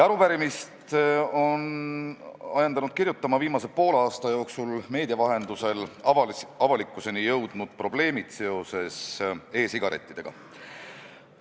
Arupärimist ajendasid meid kirjutama viimase poole aasta jooksul meedia vahendusel avalikkuseni jõudnud probleemid seoses e-sigarettidega.